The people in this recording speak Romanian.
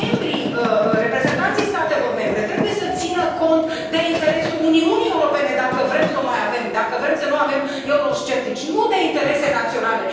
Membrii, reprezentanții statelor membre trebuie să țină cont de interesul Uniunii Europene dacă vrem să o mai avem, dacă vrem să nu avem eurosceptici, nu de interese naționale.